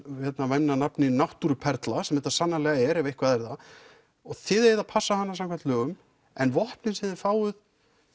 væmna nafni náttúruperla sem þetta sannarlega er ef eitthvað er það og þið eigið að passa hana samkvæmt lögum en vopnin sem þið fáið